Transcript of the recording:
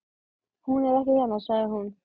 Hún er ekki hérna, sagði hún.